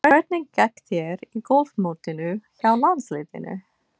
Hvernig gekk þér í golfmótinu hjá landsliðinu?